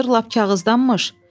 “Bu anır lap kağızdanmış.